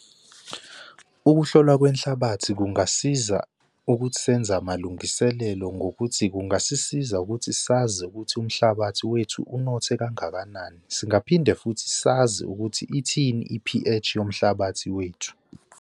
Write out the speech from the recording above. Ukuhlolwa kwenhlabathi kungasiza ukuthi senza amalungiselelo ngokuthi kungasisiza ukuthi sazi ukuthi umhlabathi wethu unothe kangakanani. Singaphinde futhi sazi ukuthi ithini i-P_H yomhlabathi wethu.